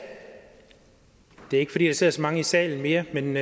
det er ikke fordi der sidder så mange i salen mere men